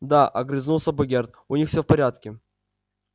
да огрызнулся богерт у них всё в порядке